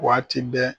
Waati bɛɛ